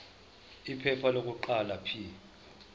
iphepha lokuqala p